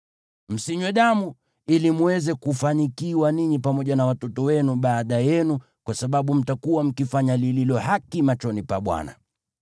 Msinywe damu, ili mweze kufanikiwa ninyi pamoja na watoto wenu baada yenu, kwa sababu mtakuwa mkifanya lililo haki machoni pa Bwana .